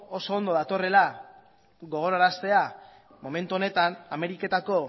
oso ondo datorrela gogoraraztea momentu honetan ameriketako